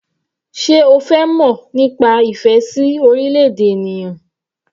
Sé o fẹ́ mọ̀ nípa ìfẹ́ sí orílẹ̀-èdè ènìyàn?